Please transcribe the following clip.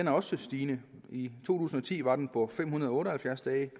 er også stigende i to tusind og ti var den på fem hundrede og otte og halvfjerds dage